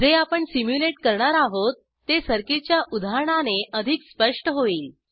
जे आपण सिम्युलेट करणार आहोत ते सर्किटच्या उदाहरणाने अधिक स्पष्ट होईल